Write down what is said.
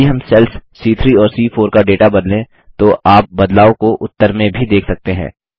यदि हम सेल्स सी3 और सी4 का डेटा बदलें तो आप बदलाव को उत्तर में भी देख सकते हैं